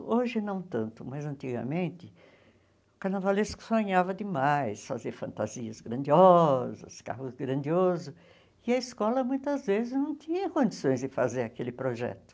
Hoje não tanto, mas antigamente o carnavalesco sonhava demais fazer fantasias grandiosas, carros grandiosos, e a escola muitas vezes não tinha condições de fazer aquele projeto.